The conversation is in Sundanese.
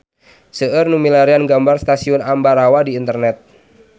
Seueur nu milarian gambar Stasiun Ambarawa di internet